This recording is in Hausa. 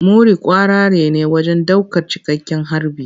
Muri kwararre ne wajen daukar cikakken harbi.